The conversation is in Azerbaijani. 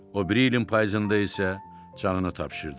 O biri ilin payızında isə canını tapşırdı.